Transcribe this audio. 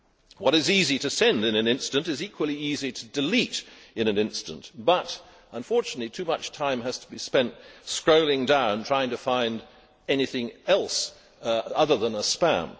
What is easy to send in an instant is equally easy to delete in an instant, but, unfortunately, too much time has to be spent scrolling down trying to find anything else other than spam.